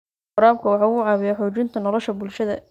Waraabku waxa uu caawiyaa xoojinta nolosha bulshada.